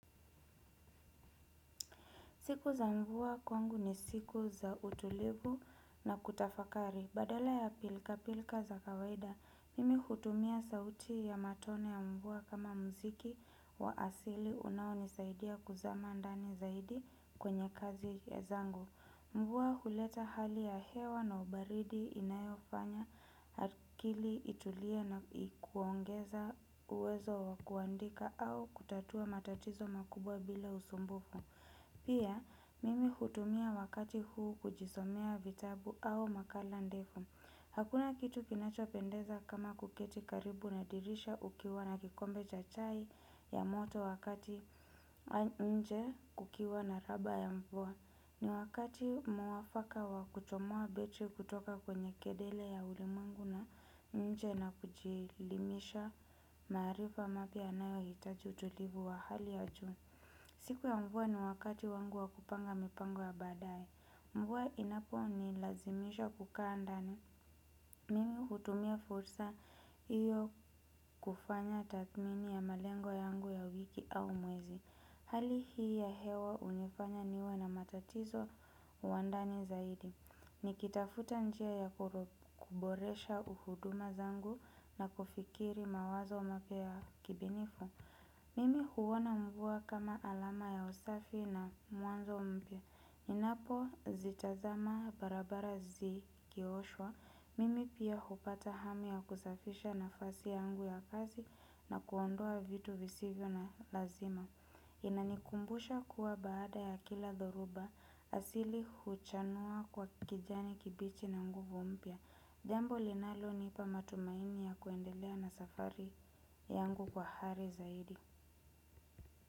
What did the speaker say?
Siku za mvua kwangu ni siku za utulivu na kutafakari badala ya pilkapilka za kawaida. Mimi hutumia sauti ya matone ya mvua kama mziki wa asili. Unaonisaidia kuzama ndani zaidi kwenye kazi ya zangu. Mvua huleta hali ya hewa na ubaridi inayofanya. Akili itulie na kuongeza uwezo wa kuandika au kutatua matatizo makubwa bila usumbufu. Pia, mimi hutumia wakati huu kujisomea vitabu au makala ndefu. Hakuna kitu kinachopendeza kama kuketi karibu na dirisha ukiwa na kikombe cha chai ya moto wakati nje kukiwa na raba ya mvua. Ni wakati mwafaka wa kuchomoa beti kutoka kwenye kedele ya ulimwengu na nje na kujilimisha maarifa mapya yanayohitaji utulivu wa hali ya juu. Siku ya mvua ni wakati wangu wa kupanga mipango ya baadae. Mvua inaponilazimisha kukaa ndani. Mimi hutumia fursa hiyo kufanya tathmini ya malengo yangu ya wiki au mwezi. Hali hii ya hewa hunifanya niwe na matatizo wa ndani zaidi. Nikitafuta njia ya kuboresha uhuduma zangu na kufikiri mawazo mapya ya kibinifu. Mimi huona mvua kama alama ya usafi na mwanzo mpia. Ninapozitazama barabara zikioshwa. Mimi pia hupata hamu ya kusafisha nafasi yangu ya kazi na kuondoa vitu visivyo na lazima. Inanikumbusha kuwa baada ya kila dhoruba asili huchanua kwa kijani kibichi na nguvu mpia. Jambo linalonipa matumaini ya kuendelea na safari yangu kwa hari zaidi.